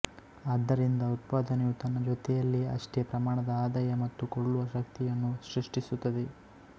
ಆದ್ದರಿಂದ ಉತ್ಪಾದನೆಯು ತನ್ನ ಜೊತೆಯಲ್ಲಿಯೇ ಅಷ್ಟೇ ಪ್ರಮಾಣದ ಆದಾಯ ಮತ್ತು ಕೊಳ್ಳುವ ಶಕ್ತಿಯನ್ನು ಸೃಷ್ಟಿಸುತ್ತದೆ